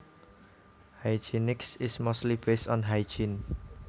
Hygienics is mostly based on hygiene